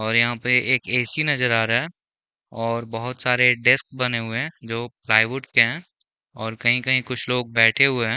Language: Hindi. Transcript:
और यहाँ पे एक ए_सी नज़र आ रहा है और बहुत सारे डेस्क बने हुए है जो प्लाईवुड है और कही-कही कुछ लोग बैठे हुए है।